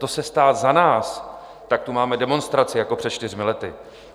To se stát za nás, tak tu máme demonstraci jako před čtyřmi lety.